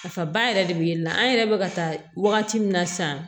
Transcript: Nafaba yɛrɛ de be yennɔ an yɛrɛ be ka taa wagati min na sisan